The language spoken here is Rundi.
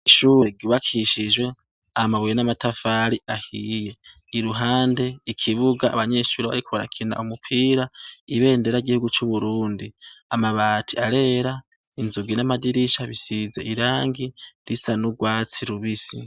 Ishure gibakishijwe amabuye n'amatafari ahiye i ruhande ikibuga abanyeshuri bariko barakina umupira ibendera gihugu c'uburundi amabati arera inzugi n'amadirisha bisize irangi risa n'urwatsi rubisi.